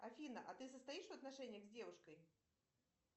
афина а ты состоишь в отношениях с девушкой